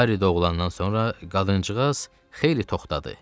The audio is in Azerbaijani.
Harris doğulandan sonra qadıncığaz xeyli toxtadı.